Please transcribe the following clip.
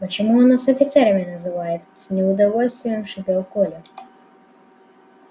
почему он нас офицерами называет с неудовольствием шипел коля